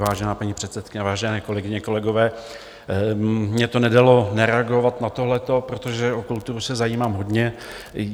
Vážená paní předsedkyně, vážené kolegyně, kolegové, mně to nedalo nereagovat na tohleto, protože o kulturu se zajímám hodně.